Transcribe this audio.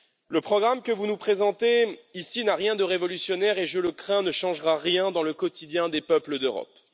Le programme que vous nous présentez ici n'a rien de révolutionnaire et je crains qu'il ne change rien dans le quotidien des peuples d'Europe.